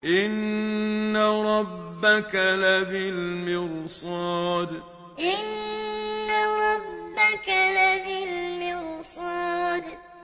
إِنَّ رَبَّكَ لَبِالْمِرْصَادِ إِنَّ رَبَّكَ لَبِالْمِرْصَادِ